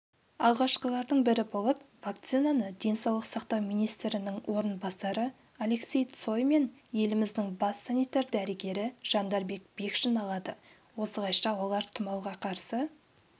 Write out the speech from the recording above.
алғашқылардың бірі болып вакцинаны денсаулық сақтау министрінің орынбасары алексей цой мен еліміздің бас санитар-дәрігері жандарбек бекшин алады осылайша олар тұмауға қарсы